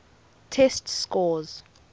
test scores